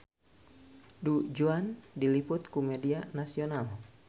Du Juan diliput ku media nasional